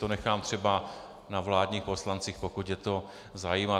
To nechám třeba na vládních poslancích, pokud je to zajímá.